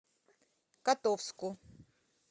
котовску